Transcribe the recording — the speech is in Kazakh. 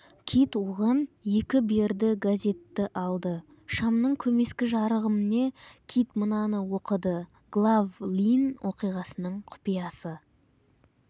кит оған екі берді газетті алды шамның көмескі жарығымне кит мынаны оқыды глав-лйн қиғасының құпиясы